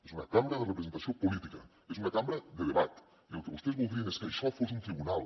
és una cambra de representació política és una cambra de debat i el que vostès voldrien és que això fos un tribunal